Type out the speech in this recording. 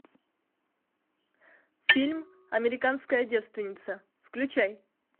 фильм американская девственница включай